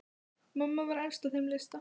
Mamma var efst á þeim lista.